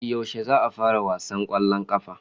Yaushe za a fara wasan kwallon kafa.